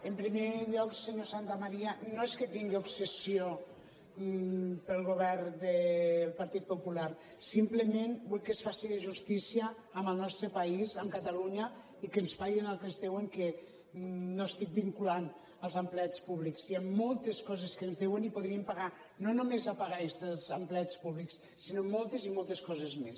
en primer lloc senyor santamaría no és que tingui obsessió pel govern del partit popular simplement vull que es faci justícia amb el nostre país amb catalunya i que ens paguin el que ens deuen que no ho estic vinculant als empleats públics hi han moltes coses que ens deuen i podríem pagar no només la paga extra dels empleats públics sinó moltes i moltes coses més